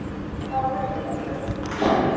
Það var merkilegt fólk Fía og Tóti.